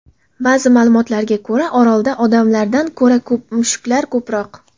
Ba’zi ma’lumotlarga ko‘ra, orolda odamlardan ko‘ra mushuklar ko‘proq.